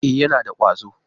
E, yana da ƙwazo.